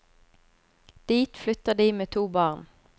Dit flytter de med to barn.